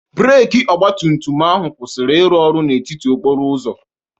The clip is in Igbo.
Breeki ọgba tum tum ahụ kwụsiri ịrụ ọrụ n'etiti okporo ụzọ.